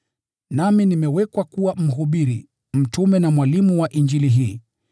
Nami nimewekwa kuwa mhubiri, mtume na mwalimu wa Injili hii.